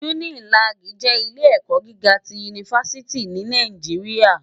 Unilàgí jè ilé èkò gigá ti únifásìtí ni Nàijiriâ